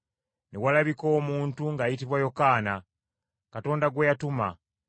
Ne walabika omuntu ng’ayitibwa Yokaana, Katonda gwe yatuma,